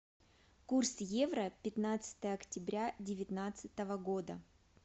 курс евро пятнадцатое октября девятнадцатого года